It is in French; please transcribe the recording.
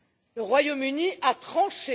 Le Royaume Uni a tranché.